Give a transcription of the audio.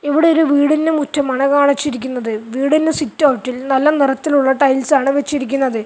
ഇവിടെ ഒരു വീടിൻറെ മുറ്റമാണ് കാണിച്ചിരിക്കുന്നത് വീടിൻറെ സിറ്റൗട്ടിൽ നല്ല നിറത്തിലുള്ള ടൈൽസ് ആണ് വെച്ചിരിക്കുന്നത്.